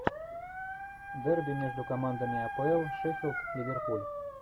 дерби между командами апл шеффилд ливерпуль